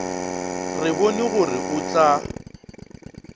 re bone gore o tla